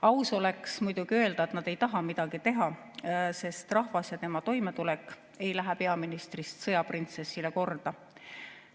Aus oleks muidugi öelda, et nad ei taha midagi teha, sest rahvas ja tema toimetulek ei lähe peaministrist sõjaprintsessile korda.